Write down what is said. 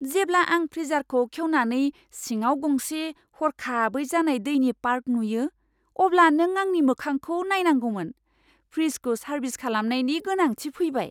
जेब्ला आं फ्रीजारखौ खेवनानै सिङाव गंसे हरखाबै जानाय दैनि पार्क नुयो, अब्ला नों आंनि मोखांखौ नायनांगौमोन। फ्रिजखौ सारभिस खालामनायनि गोनांथि फैबाय।